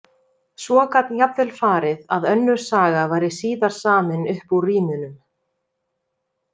Svo gat jafnvel farið að önnur saga væri síðar samin upp úr rímunum.